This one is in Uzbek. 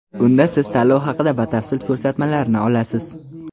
Unda siz tanlov haqida batafsil ko‘rsatmalarni olasiz.